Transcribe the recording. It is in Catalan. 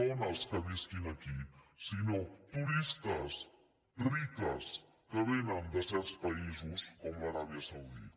dones que visquin aquí sinó turistes riques que vénen de certs països com l’aràbia saudita